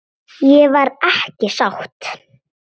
Ég var ekki sátt.